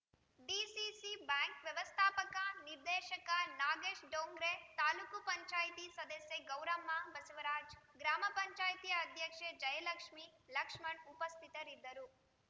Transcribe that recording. DCC bank ವ್ಯವಸ್ಥಾಪಕ ನಿರ್ದೇಶಕ ನಾಗೇಶ್‌ ಡೋಂಗ್ರೆ ತಾಲೂಕು ಪಂಚಾಯಿತಿ ಸದಸ್ಯೆ ಗೌರಮ್ಮ ಬಸವರಾಜ್‌ ಗ್ರಾಮ ಪಂಚಾಯಿತಿ ಅಧ್ಯಕ್ಷೆ ಜಯಲಕ್ಷ್ಮೇ ಲಕ್ಷ್ಮಣ್‌ ಉಪಸ್ಥಿತರಿದ್ದರು